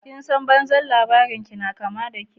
"Kin san banzan labarinki na ƙama dake?